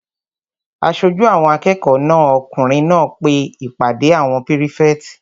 Aṣojú àwọn akẹ́kọ̀ọ́ náà okùnrin pe ìpàdé àwọn pírífẹ̀tì